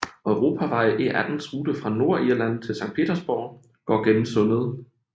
Europavej E18s rute fra Nordirland til Sankt Petersborg går gennem sundet